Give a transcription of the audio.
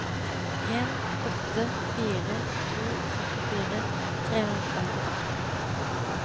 en åtte fire to førtifire tre hundre og femtifem